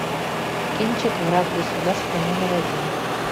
кинчик враг государства номер один